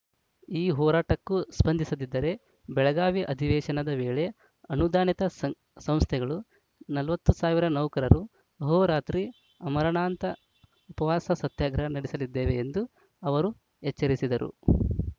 ಈ ಹೋರಾಟಕ್ಕೂ ಸ್ಪಂದಿಸದಿದ್ದರೆ ಬೆಳಗಾವಿ ಅಧಿವೇಶನದ ವೇಳೆ ಅನುದಾನಿತ ಸಂ ಸಂಸ್ಥೆಗಳು ನಲವತ್ತು ಸಾವಿರ ನೌಕರರು ಅಹೋರಾತ್ರಿ ಅಮರಣಾಂತ ಉಪವಾಸ ಸತ್ಯಾಗ್ರಹ ನಡೆಸಲಿದ್ದೇವೆ ಎಂದು ಅವರು ಎಚ್ಚರಿಸಿದರು